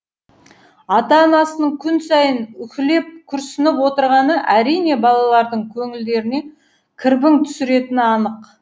ата анасының күн сайын уһілеп күрсініп отырғаны әрине балалардың көңілдеріне кірбің түсіретіні анық